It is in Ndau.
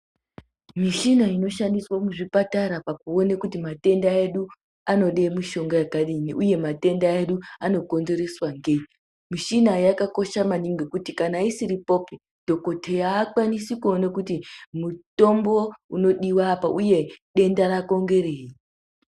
Michina inoshandiswe muzvipatara pakuona kuti matenda edu, anoda mishonga yakadini, uye matenda edu anokonzereswa ngei. Michina iyi yakakosha maningi nekuti kana isiripopi dhokodheya haakwanisi kuona kuti mutombo ungadiva apa, uye denda rako ngerei.